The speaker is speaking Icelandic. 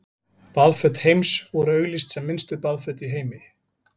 Baðföt Heims voru auglýst sem minnstu baðföt í heimi.